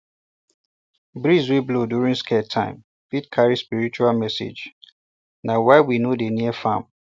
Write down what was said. breeze wey blow during sacred time fit carry spiritual messagena why we no dey near farm